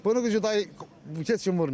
Bunun gücü heç kim vurmır.